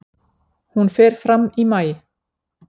Hún fer fram í maí.